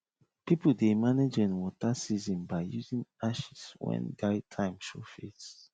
people dey manage rain water season by using ashes when dry time show face